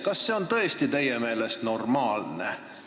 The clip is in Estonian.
Kas see on teie meelest tõesti normaalne?